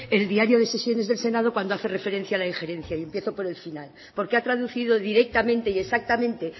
el diario de sesiones del senado cuando hace referencia a la injerencia y empiezo por el final porque ha traducido directamente y exactamente